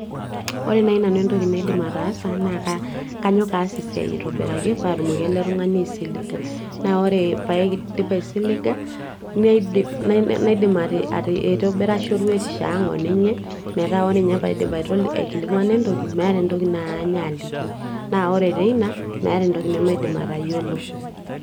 Ore naai entoki naidim atasa naa kanyok aas esiaai ai aitobiraki paatumoki ele tung'ani aisilinga, naa ore paidip aisiliga ah nadim aitobira shoruetisho ang o ninye, meeta ore ninye paaikilikwana entoki meeta entoki naany aliki naa ore teina maata entoki ne maidim atayiolo